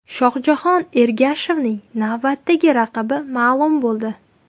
Shohjahon Ergashevning navbatdagi raqibi ma’lum bo‘ldi.